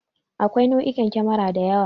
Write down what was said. Akwai nau'ikan kemara da yawa.